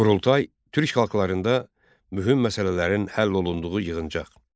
Qurultay türk xalqlarında mühüm məsələlərin həll olunduğu yığıncaq.